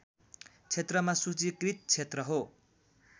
क्षेत्रमा सूचीकृत क्षेत्र हो